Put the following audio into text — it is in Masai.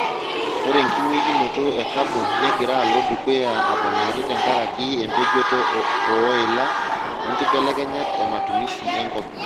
Ore enkingweikinoto e kabon negira alo dukuya aponari tenkaraki empejoto oo ila onkibelekenyat ematumisi enkop.